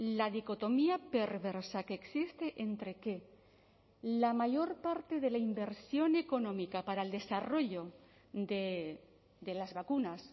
la dicotomía perversa que existe entre que la mayor parte de la inversión económica para el desarrollo de las vacunas